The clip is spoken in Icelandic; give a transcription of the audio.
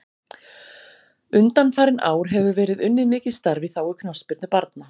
Undanfarin ár hefur verið unnið mikið starf í þágu knattspyrnu barna.